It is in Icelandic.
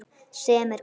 Sem er gott.